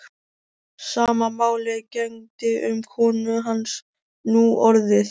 Sama máli gegndi um konu hans núorðið.